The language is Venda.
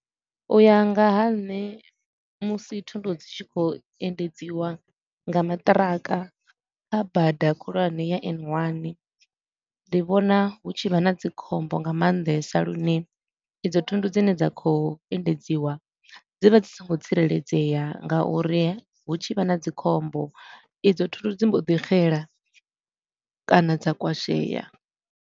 U ya nga ha nṋe musi thundu dzi tshi khou endedziwa nga maṱiraka kha bada khulwane ya N one, ndi vhona hu tshi vha na dzikhombo nga maanḓesa lune idzo thundu dzine dza khou endedziwa dzi vha dzi songo tsireledzea nga uri hu tshi vha na dzikhombo, idzo thundu dzi mbo ḓi xela kana dza kwashea.